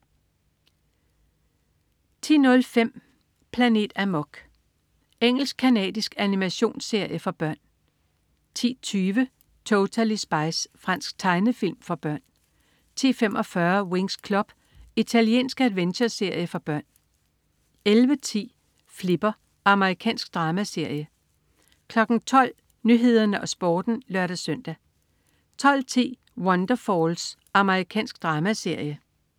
10.05 Planet Amok. Engelsk-canadisk animationsserie for børn 10.20 Totally Spies. Fransk tegnefilm for børn 10.45 Winx Club. Italiensk adventureserie for børn 11.10 Flipper. Amerikansk dramaserie 12.00 Nyhederne og Sporten (lør-søn) 12.10 Wonderfalls. Amerikansk dramaserie